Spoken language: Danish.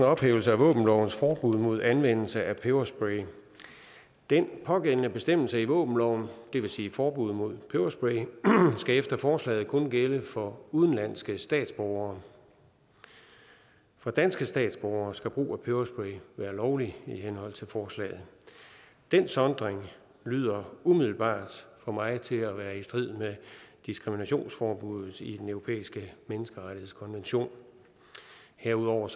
ophævelse af våbenlovens forbud mod anvendelse af peberspray den pågældende bestemmelse i våbenloven det vil sige forbuddet mod peberspray skal efter forslaget kun gælde for udenlandske statsborgere for danske statsborgere skal brug af peberspray være lovligt i henhold til forslaget den sondring lyder umiddelbart for mig til at være i strid med diskriminationsforbuddet i den europæiske menneskerettighedskonvention herudover